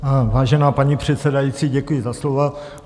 Vážená paní předsedající, děkuji za slovo.